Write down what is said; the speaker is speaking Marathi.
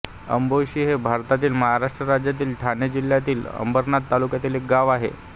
आंबोशी हे भारतातील महाराष्ट्र राज्यातील ठाणे जिल्ह्यातील अंबरनाथ तालुक्यातील एक गाव आहे